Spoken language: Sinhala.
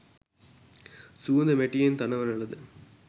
සුවඳ මැටියෙන් තනවන ලද